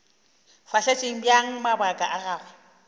fahletše bjang mabaka a gagwe